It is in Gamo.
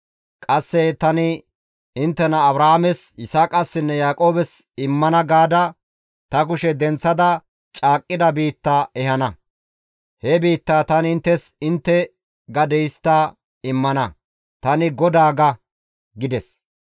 Qasse tani inttena Abrahaames, Yisaaqassinne Yaaqoobes immana gaada ta kushe denththada caaqqida biitta ehana; he biittaa tani inttes intte gade histta immana; tani GODAA› ga» gides.